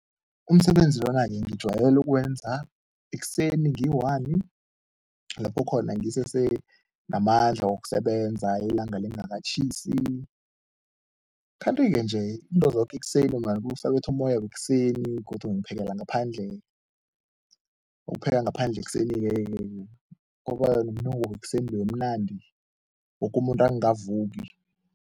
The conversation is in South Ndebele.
Umsebenzi wakanye ngijwayele ukuwenza ekuseni ngiyi-one lapho khona ngisesenamandla wokusebenza, ilanga lingakatjhisi, kanti-ke nje into zoke ekuseni ungabusa kubetha umoya wekuseni, godu ngiphekela ngaphandle, ukupheka ngaphandle ekuseni-ke ke kuba nomunuko wekuseni loya omnandi, woke umuntu angavuki.